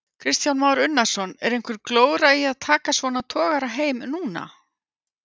Kristján Már Unnarsson: Er einhver glóra í að taka svona togara heim núna?